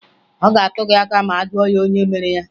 Ọ ga-atụ gị aka ma a jụọ ya onye mere ya